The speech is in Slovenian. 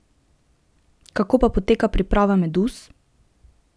Kako pa poteka priprava meduz?